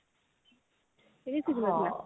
ସେ ବି ଶିଖି ନ ଥିଲା